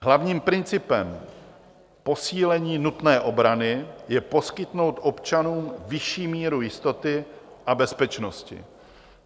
Hlavním principem posílení nutné obrany je poskytnout občanům vyšší míru jistoty a bezpečnosti.